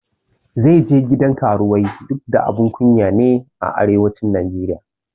Zai je gidan karuwai duk da abun kunya ne a arewacin Najeriya